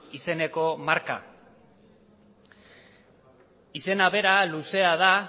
izeneko marka izena bera luzea da